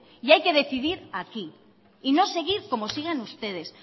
y hay que decidir aquí y no seguir como siguen ustedes